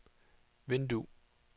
vindue